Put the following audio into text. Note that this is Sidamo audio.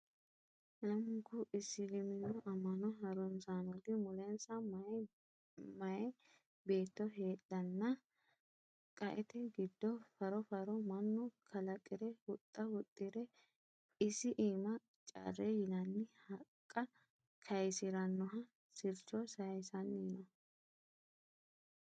Lamunku isiliminu ama'no harunsanoti mulensa mayi beetto heedhanna qaete giddo faro faro mannu kalaqire huxxa huxxire isi iima carre yinanni haqqa kayisiranoha sircho sayissanni noo.